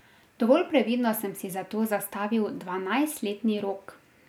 Dovolj previdno sem si za to zastavil dvanajstletni rok.